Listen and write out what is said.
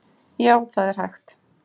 Já, það er hægt.